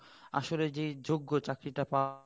আসলে যে যোগ্য চাকরি টা পাওয়ার